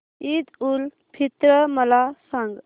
ईद उल फित्र मला सांग